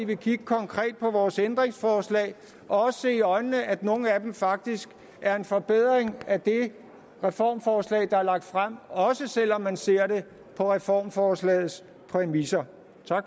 vil kigge konkret på vores ændringsforslag og også se i øjnene at nogle af dem faktisk er en forbedring af det reformforslag der er lagt frem også selv om man ser det på reformforslagets præmisser tak